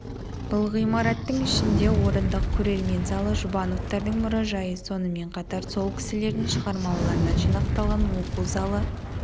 бұл ғимараттың ішінде орындық көрермен залы жұбановтардың мұражайы сонымен қатар сол кісілердің шығармаларынан жинақталған оқу залы